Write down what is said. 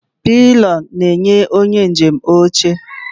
Pilion na-enye onye njem oche oche.